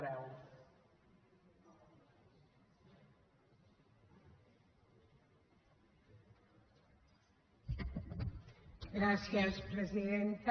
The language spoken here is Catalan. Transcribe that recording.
gràcies presidenta